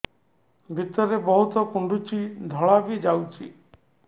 ଭିତରେ ବହୁତ କୁଣ୍ଡୁଚି ଧଳା ବି ଯାଉଛି